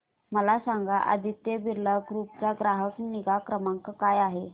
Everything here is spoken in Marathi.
मला सांगाना आदित्य बिर्ला ग्रुप चा ग्राहक निगा क्रमांक काय आहे